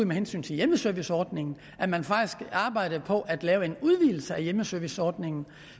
med hensyn til hjemmeserviceordningen at man faktisk arbejdede på at lave en udvidelse af hjemmeserviceordningen